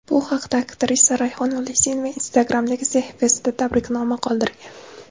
Bu haqda aktrisa Rayhon Ulasenova Instagram’dagi sahifasida tabriknoma qoldirgan .